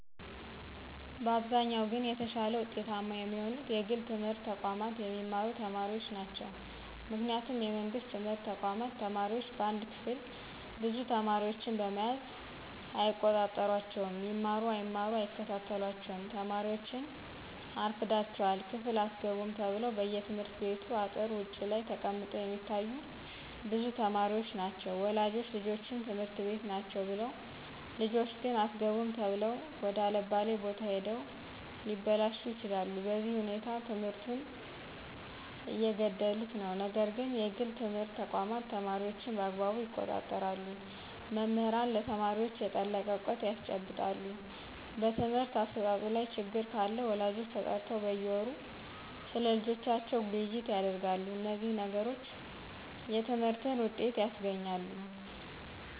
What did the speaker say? በአብዛኛው ግን የተሻለ ውጤታማ የሚሆኑት የግል ትምህርት ተቋማት የሚማሩ ተማሪዎች ናቸው ምክንያቱም የመንግስት ትምህርት ተቋማት ተማሪዎች በአንድ ክፍል ብዙ ተማሪዎችን በመያዝ አይቆጣጠሯቸውም ይማሩ አይማሩ አይከታተሏቸውም ተማሪዎችን አርፍዳችሗል ክፍል አትገቡም ተብለው በየትምህርት ቤቱ አጥር ውጭ ላይ ተቀምጠው የሚታዮ ብዙ ተማሪዎች ናቸው ወላጆች ልጆች ትምህርት ቤት ናቸው ብለው ልጆች ግን አትገቡም ተብለው ወደ አለባሌ ቦታ ሂደው ሊበላሹ ይችላሉ በዚህ ሁኔታ ትምህርቱን እየገደሉት ነው ነገር ግን የግል ትምህርት ተቋማት ተማሪዎችን በአግባቡ ይቆጣጠራሉ መምህራንም ለተማሪዎች የጠለቀ እውቀት ያስጨብጣሉ በትምህርት አሰጣጡ ላይ ችግር ካለ ወላጆች ተጠርተው በየወሩ ስለልጆቻቸው ውይይት ያደርጋሉ እነዚህ ነገሮች የትምህርትን ውጤት ያስገኛሉ